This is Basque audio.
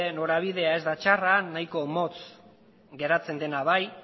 norabidea ez da txarra nahiko motz geratzen dena bai